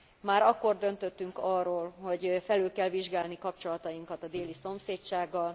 Már akkor döntöttünk arról, hogy felül kell vizsgálni kapcsolatainkat a déli szomszédsággal.